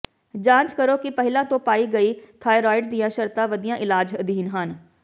ਜਾਂਚ ਕਰੋ ਕਿ ਪਹਿਲਾਂ ਤੋਂ ਪਾਈ ਗਈ ਥਾਈਰੋਇਡ ਦੀਆਂ ਸ਼ਰਤਾਂ ਵਧੀਆ ਇਲਾਜ ਅਧੀਨ ਹਨ